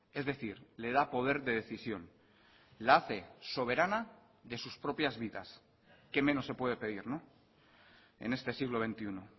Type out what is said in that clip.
es decir le da poder de decisión la hace soberana de sus propias vidas qué menos se puede pedir en este siglo veintiuno